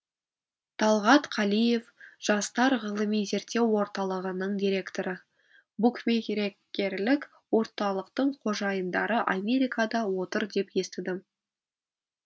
талғат қалиев жастар ғылыми зерттеу орталығының директоры букмерекерлік орталықтың қожайындары америкада отыр деп естідім